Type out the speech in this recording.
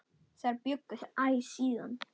Þar bjuggu þau æ síðan.